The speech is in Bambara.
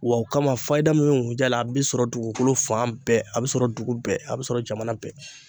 Wa o kama fayida min ŋunjɛ la a bi sɔrɔ dugukolo fan bɛɛ a be sɔrɔ dugu bɛɛ a be sɔrɔ jamana bɛɛ.